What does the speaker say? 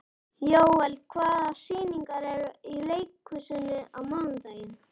Jóel, hvaða sýningar eru í leikhúsinu á mánudaginn?